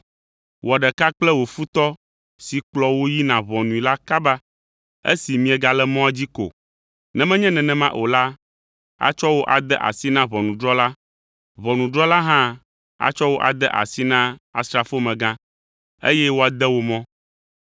“Wɔ ɖeka kple wò futɔ si kplɔ wò yina ʋɔnui la kaba esi miegale mɔa dzi ko. Ne menye nenema o la, atsɔ wò ade asi na ʋɔnudrɔ̃la, ʋɔnudrɔ̃la hã atsɔ wò ade asi na asrafomegã, eye woade wò mɔ.